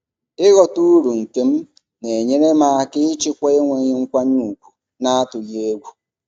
ịghọta uru nke m na-enyere m aka ịchịkwa enweghị nkwanye ùgwù n'atụghị egwu.